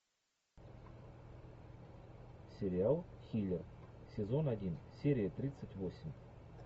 сериал хилер сезон один серия тридцать восемь